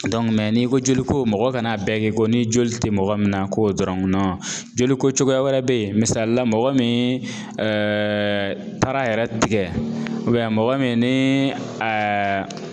n'i ko joli ko mɔgɔ kan'a bɛɛ kɛ ko ni joli tɛ mɔgɔ min na k'o dɔrɔn joliko cogoya wɛrɛ bɛ yen misali la mɔgɔ min taara a yɛrɛ tigɛ mɔgɔ min ni